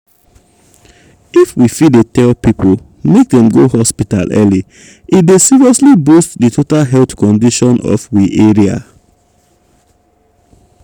if we fit dey tell people make dem go hospital early e dey seriously boost di total health condition of we area.